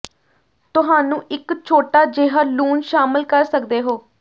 ਤੁਹਾਨੂੰ ਇੱਕ ਛੋਟਾ ਜਿਹਾ ਲੂਣ ਸ਼ਾਮਲ ਕਰ ਸਕਦੇ ਹੋ